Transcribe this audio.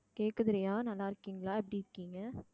கேக்குது ரியா நல்லா இருக்கீங்களா எப்படி இருக்கீங்க